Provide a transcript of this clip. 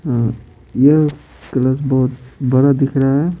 यह क्लास बहुत बड़ा दिख रहा है।